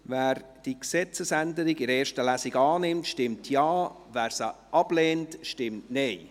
Wer diese Gesetzesänderung in der ersten Lesung annimmt, stimmt Ja, wer diese ablehnt, stimmt Nein.